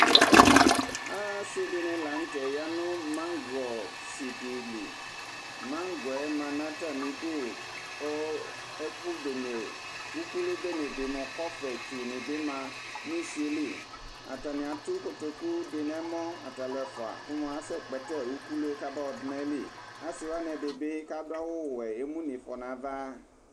asi di ni lantɛ ya no maŋgɔ si di li maŋgɔ yɛ ma n'atami du kò ɛkò bene ukulu bene di mo kɔfɛ tsu ni bi ma n'usie li atani ato kotoku di n'ɛmɔ ata alò ɛfua ko moa asɛ kpɛtɛ ukulu yɛ ka ba yɔ du n'ayili asi wani ɛdi bi k'adu awu wɛ emu n'ifɔ n'ava.